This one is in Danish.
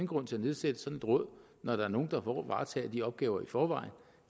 grund til at nedsætte sådan et råd når der er nogle der varetager de opgaver i forvejen